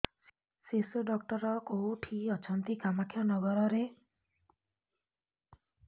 ଶିଶୁ ଡକ୍ଟର କୋଉଠି ଅଛନ୍ତି କାମାକ୍ଷାନଗରରେ